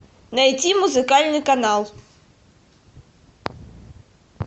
найти музыкальный канал